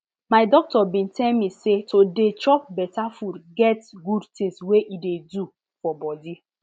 my doctor been tell me say to dey chop better food get good things wey e dey do for body